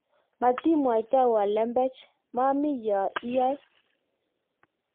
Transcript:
matimwaitowo lembech maami yoe iyoe